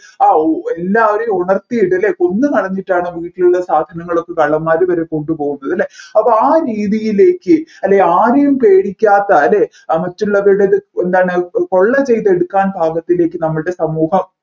ആ ഉ എല്ലാവരെയും ഉണർത്തിട്ടല്ലേ കൊന്നുകളഞ്ഞിട്ടാണ് വീട്ടിലുള്ള സാധനങ്ങളൊക്കെ കള്ളന്മാർ വരെ കൊണ്ട് പോകുന്നത് അല്ലെ അപ്പോ ആ രീതിയിലേക്ക് അല്ലെ ആരെയും പേടിക്കാത്ത അല്ലെ മറ്റുള്ളവരെത് എന്താണ് കൊള്ള ചെയ്തു എടുക്കാൻ പാകത്തിലേക്ക് നമ്മൾടെ സമൂഹം